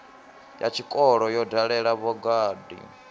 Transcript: ya tshikolo yo dalela vhagudi